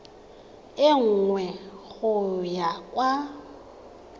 e nngwe go ya kwa